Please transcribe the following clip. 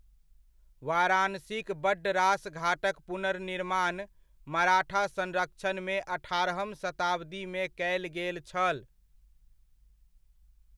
वाराणसीक बड्ड रास घाटक पुनर्निर्माण मराठा संरक्षणमे अठारहम शताब्दीमे कयल गेल छल।